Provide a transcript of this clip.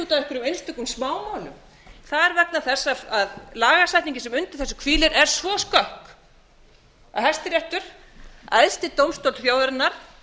út af einhverjum smámálum það er vegna þess að lagasetningin sem undir þessu hvílir er svo skökk að hæstiréttur æðsti dómstóll þjóðarinnar